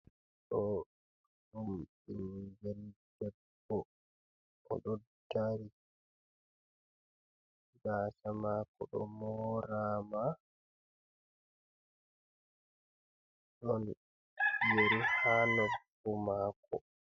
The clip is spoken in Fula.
Ɗoo ɗum ɓinngel debbo o ɗoddari, gaasa maako ɗo mooraama. Ɗon yeri haa norfu maako.